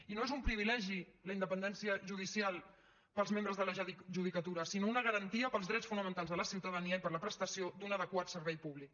i no és un privilegi la independència judicial per als membres de la judicatura sinó una garantia per als drets fonamentals de la ciutadania i per a la prestació d’un adequat servei públic